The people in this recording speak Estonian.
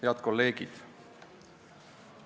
Head kolleegid!